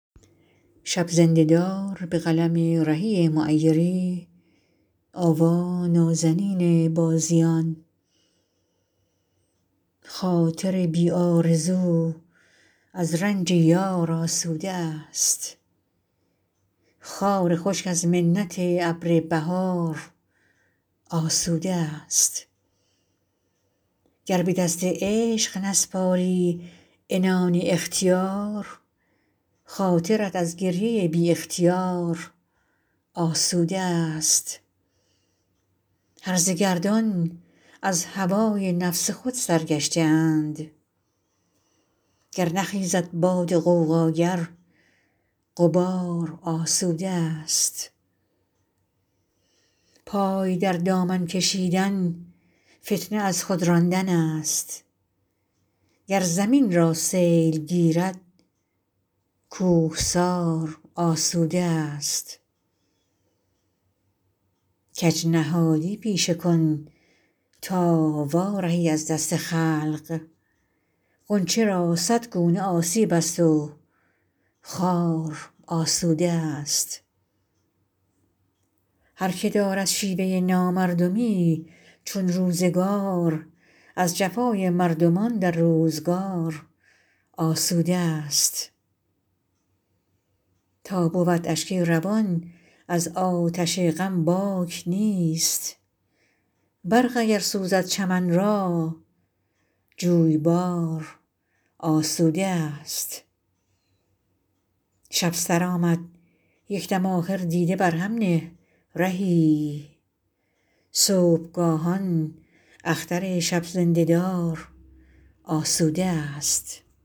خاطر بی آرزو از رنج یار آسوده است خار خشک از منت ابر بهار آسوده است گر به دست عشق نسپاری عنان اختیار خاطرت از گریه بی اختیار آسوده است هرزه گردان از هوای نفس خود سرگشته اند گر نخیزد باد غوغاگر غبار آسوده است پای در دامن کشیدن فتنه از خود راندن است گر زمین را سیل گیرد کوهسار آسوده است کج نهادی پیشه کن تا وارهی از دست خلق غنچه را صد گونه آسیب است و خار آسوده است هرکه دارد شیوه نامردمی چون روزگار از جفای مردمان در روزگار آسوده است تا بود اشک روان از آتش غم باک نیست برق اگر سوزد چمن را جویبار آسوده است شب سرآمد یک دم آخر دیده بر هم نه رهی صبحگاهان اختر شب زنده دار آسوده است